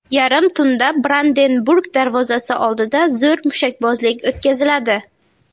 Yarim tunda Brandenburg darvozasi oldida zo‘r mushakbozlik o‘tkaziladi.